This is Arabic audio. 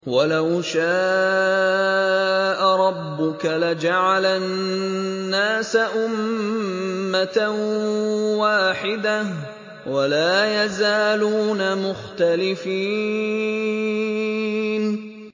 وَلَوْ شَاءَ رَبُّكَ لَجَعَلَ النَّاسَ أُمَّةً وَاحِدَةً ۖ وَلَا يَزَالُونَ مُخْتَلِفِينَ